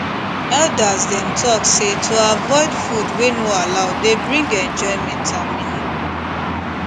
elders dem talk say to dey avoid food wey no allow dey bring enjoyment and meaning